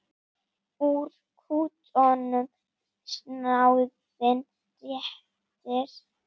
Úr kútnum snáðinn réttir.